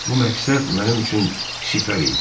Bu məqsəd mənim üçün sipər idi.